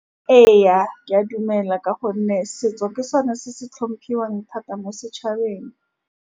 Ee, ke a dumela ka gonne setso ke sone se se hlomphuoa thata mo setšhabeng.